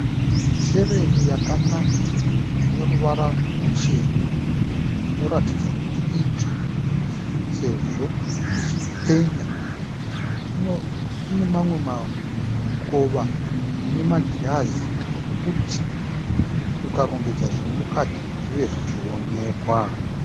Sherefu yakanaka ineruvara rwuchena. Inoratidza kuti itsva sezvo ichipenya. Ine mamwe mikova inemagirazi okuti ukarongedza zvirimukati zvive zvichionekwa.